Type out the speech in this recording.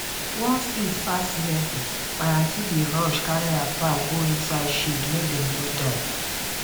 once heat pass level my aunty dey rush carry her fowl go inside shade make dem no die